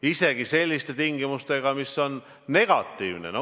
Isegi selliste tingimustega, mis olid negatiivsed.